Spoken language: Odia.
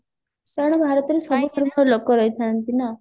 କାରଣ ଭାରତରେ ସବୁ ଧର୍ମର ଲୋକ ରହିଥାନ୍ତି ନା